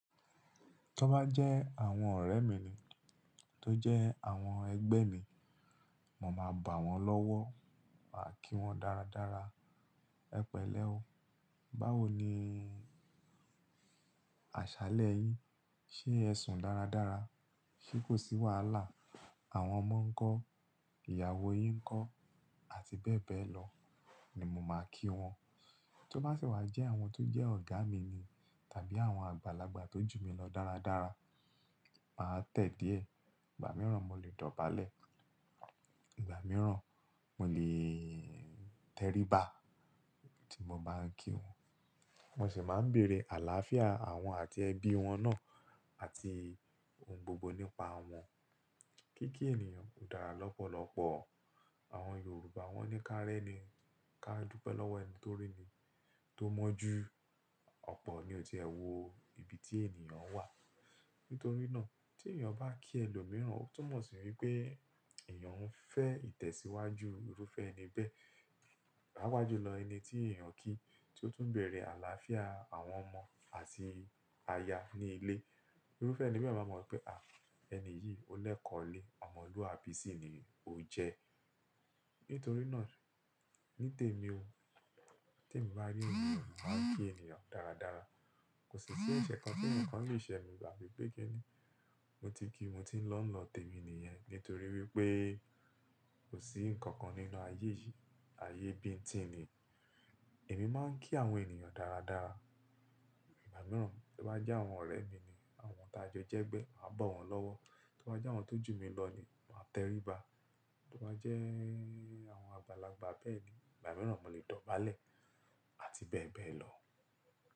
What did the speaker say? Kí ó bá jẹ́ àwọn ọ̀rẹ́ mi ni tó jẹ́ àwọn ẹgbẹ́ mi, mo máa bá wọn lọ́wọ́, màá kí wọn dáradára. Ẹ pẹ̀lẹ́ o. Báwo ni àṣálẹ́ yín? Ṣé ẹ sùn dáradára? Ṣé kò sí wàhálà? Àwọn ọmọ ńkọ́? Ìyàwó yín ńkọ́? Àti bẹ́ẹ̀ bẹ́ẹ̀ lọ ni mo máa kí wọn. Tí ó bá sì wà jẹ́ àwọn tó jẹ́ ọ̀gá mi ni tàbí àwọn àgbàlagbà tó jù mí lọ dáradára, màá tẹ̀ díẹ̀. Ìgbà mìíràn mo lè dọ̀bálẹ̀. Ìgbà mìíràn mo lè tẹríba tí mo bá ń kí wọn. Mo sì máa ń bèrè àlàáfíà àwọn àti ẹbí wọn náà àti ohun gbogbo nípa wọn. Kíkí ènìyàn dára lọ́pọ̀lọpọ̀. Àwọn Yorùbá wọ́n ní ká rẹ́ ni, ká dúpẹ́ lọ́wọ́ ẹni tó rí ni, tó mọ́ ju ọ̀pọ̀ ní òtì ẹ wò ibi tí ènìyàn wà. Nítorí náà tí ènìyàn bá kí ẹlòmíràn, ó tún mọ̀ sí wípé èèyàn ń fẹ́ ìtẹ̀síwájú irúfẹ́ ẹni bẹ́ẹ̀. Láwájú lọ ẹni tí èèyàn ń kí tí ó tún ń bèrè àlàáfíà àwọn ọmọ àti aya ní ilé, irúfẹ́ ẹni bẹ́ẹ̀ máa mọ̀ pé, à ẹni yìí ó lẹ̀kọ̀ọ́ lé. Ọmọlúwàbí sì ni ó jẹ́. Nítorí náà ní tèmi o te mi bá rí ènìyàn, màá kí ènìyàn dáradára. Kò sì ṣẹ́ eṣẹ́ kan tí eǹikan lè ṣe mi ba fi pẹ́kini. Mo ti kí mo ti ń lọ́ lọ tèmi nìyẹn nítorí wípé kò sí ǹkan kan nínú ayé yìí, ayé bíńtìn ni. Èmi máa ń kí àwọn ènìyàn dáradára ìgbà mìíràn. Tí ó bá jẹ́ àwọn ọ̀rẹ́ mi ni àwọn tí a jọ jẹ́ ẹgbẹ́, màá bá wọn lọ́wọ́. Tí ó bá jẹ́ àwọn tó jù mí lọ ni màá tẹríba. Tó bá jẹ́ àwọn àgbàlagbà bẹ́ẹ̀ ni ìgbà mìíràn mo lè dọ̀bálẹ̀ àti bẹ́ẹ̀ bẹ́ẹ̀ lọ.